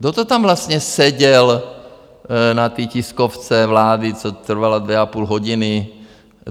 Kdo to tam vlastně seděl na té tiskovce vlády, co trvala dvě a půl hodiny?